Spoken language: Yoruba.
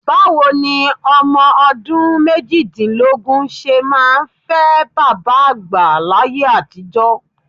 Báwo ni ọmọ ọdún méjìdínlógún ṣe máa fẹ́ bàbá àgbà láyé àtijọ́?